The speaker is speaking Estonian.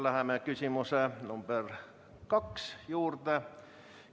Läheme küsimuse nr 2 juurde.